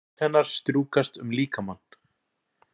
Hönd hennar strjúkast um líkamann.